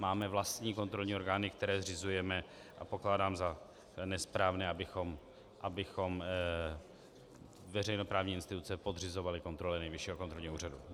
Máme vlastní kontrolní orgány, které zřizujeme, a pokládám za nesprávné, abychom veřejnoprávní instituce podřizovali kontrole Nejvyššího kontrolního úřadu.